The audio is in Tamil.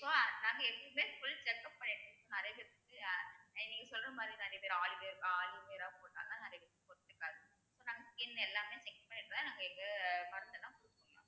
so நாங்க எப்பவுமே full check up பண்ணிட்டு நிறைய பேத்துக்கு நீங்க சொல்ற மாதிரிதான் நிறைய பேர் aloe ver~ aloe vera போட்டதனாலதான் நிறைய பேத்துக்கு நம்ம skin எல்லாமே check பண்ணிக்கலாம் நம்ம இந்த மருந்தெல்லாம்